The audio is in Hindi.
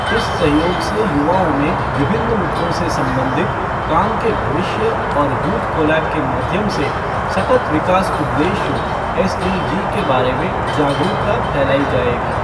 इस सहयोग से युवाओं में विभिन्न मुद्दों से संबंधित, काम के भविष्य और यूथ कोलैब के माध्यम से सतत विकास उद्देश्यों एसडीजी के बारे में जागरूकता फैलाई जायेगी।